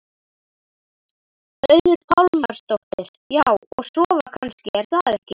Auður Pálmarsdóttir: Já, og sofa kannski er það ekki?